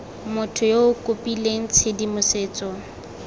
motho yo o kopileng tshedimosetso